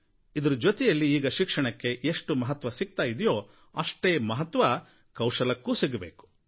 ಇದರ ಜೊತೆಯಲ್ಲಿ ಈಗ ಶಿಕ್ಷಣಕ್ಕೆ ಎಷ್ಟು ಮಹತ್ವ ಸಿಗ್ತಾ ಇದೆಯೋ ಅಷ್ಟೇ ಮಹತ್ವ ಕೌಶಲ್ಯಕ್ಕೂ ಸಿಗಬೇಕು